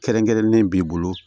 Kɛrɛnkɛrɛnnen b'i bolo